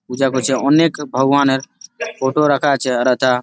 পূজা করছে অনেক ভগবানের ফটো রাখা আছে আর হেথা--